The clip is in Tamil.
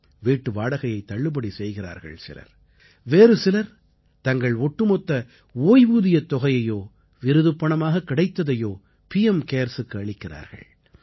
வீட்டு வாடகையைத் தள்ளுபடி செய்கிறார்கள் சிலர் வேறு சிலர் தங்கள் ஒட்டுமொத்த ஓய்வூதியத் தொகையையோ விருதுப்பணமாக கிடைத்ததையோ பிஎம் CARESக்கு அளிக்கிறார்கள்